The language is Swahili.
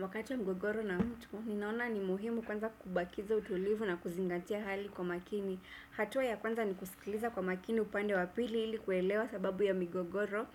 Wakati wa mgogoro na mtu, ninaona ni muhimu kuanza kubakiza utulivu na kuzingatia hali kwa makini. Hatua ya kwanza ni kusikiliza kwa makini upande wa pili ili kuelewa sababu ya migogoro